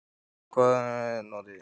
Guðný: Og hvaða beitu notið þið?